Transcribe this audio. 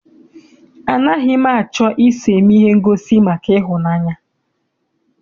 Anaghị m achọ I so eme ihe ngosi maka ịhụnanya.